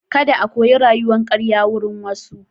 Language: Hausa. Kada a koyi rayuwan karya wurin wasu.